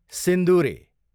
सिन्दुरे